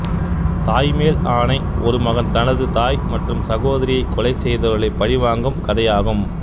தாய் மேல் ஆணை ஒரு மகன் தனது தாய் மற்றும் சகோதரியை கொலை செய்தவர்களை பழிவாங்கும் கதையாகும்